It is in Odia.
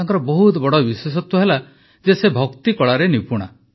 ତାଙ୍କର ବହୁତ ବଡ଼ ବିଶେଷତ୍ୱ ହେଲା ଯେ ସେ ଭକ୍ତି କଳାରେ ନିପୂଣା